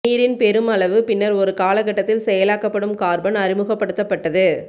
நீரின் பெரும் அளவு பின்னர் ஒரு காலகட்டத்தில் செயலாக்கப்படும் கார்பன் அறிமுகப்படுத்தப்பட்டது